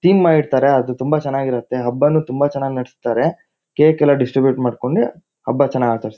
Theme ಮಾಡ್ ಇಡ್ತಾರೆ ಅದು ತುಂಬಾ ಹಬ್ಬ ನು ತುಂಬಾ ಚನಾಗ್ ನಾಡಸ್ತಾರೆ ಕೇಕ್ ಎಲ್ಲಾ ಡಿಸ್ಟ್ರಿಬ್ಯೂಟ್ ಮಾಡ್ಕೊಂಡು ಹಬ್ಬ ಚನಾಗ್ ಆಚರ್ಸ್ತಾರೆ.